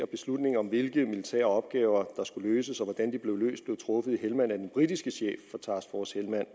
beslutningen om hvilke militære opgaver der skulle løses og hvordan de blev løst blev truffet i helmand af den britiske chef for task force helmand